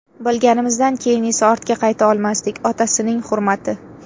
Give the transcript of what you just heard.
Bilganimizdan keyin esa ortga qayta olmasdik, otasining hurmati.